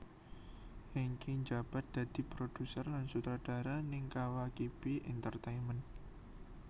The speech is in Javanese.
Hengky njabat dadi produser lan sutradara ning Kawakibi Entertainment